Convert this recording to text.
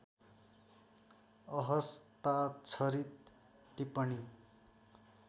अहस्ताक्षरित टिप्पणी